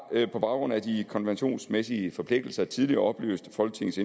på baggrund af de konventionsmæssige forpligtelser tidligere oplyst folketingets